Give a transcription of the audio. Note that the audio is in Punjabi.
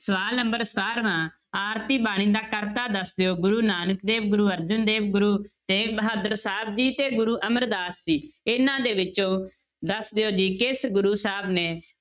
ਸਵਾਲ number ਸਤਾਰਵਾਂ ਆਰਤੀ ਬਾਣੀ ਦਾ ਕਰਤਾ ਦੱਸ ਦਿਓ ਗੁਰੂ ਨਾਨਕ ਦੇਵ, ਗੁਰੂ ਅਰਜਨ ਦੇਵ, ਗੁਰੂ ਤੇਗ ਬਹਾਦਰ ਸਾਹਿਬ ਜੀ ਤੇ ਗੁਰੂ ਅਮਰਦਾਸ ਜੀ, ਇਹਨਾਂ ਦੇ ਵਿੱਚੋਂ ਦੱਸ ਦਿਓ ਜੀ ਕਿਸ ਗੁਰੂ ਸਾਹਿਬ ਨੇ